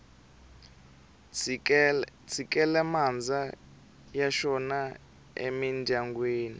tshikele mandza ya xona emindyangwini